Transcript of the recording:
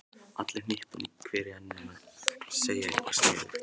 Allir hnippandi hver í annan og að segja eitthvað sniðugt.